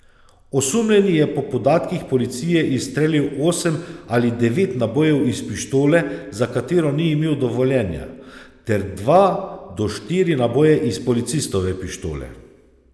Osumljeni je po podatkih policije izstrelil osem ali devet nabojev iz pištole, za katero ni imel dovoljenja, ter dva do štiri naboje iz policistove pištole.